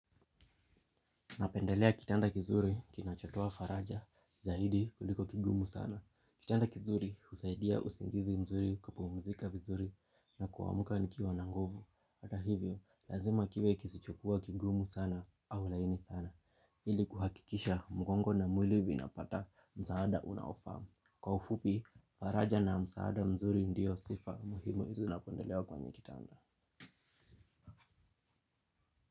Napendelea kitanda kizuri kinachotaa faraja zaidi kuliko kigumu sana. Kitanda kizuri husaidia usingizi mzuri kupumzika vizuri na kuamka nikiwa na nguvu. Hata hivyo, lazima kiwe kisichokuwa kigumu sana au laini sana. Ili kuhakikisha mgongo na mwili vinapata msaada unaofaa. Kwa ufupi, faraja na msaada mzuri ndio sifa muhimu zinazopendelea kwenye kitanda.